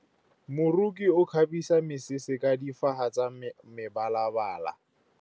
Moroki o kgabisa mesese ka difaga tsa mebalabala.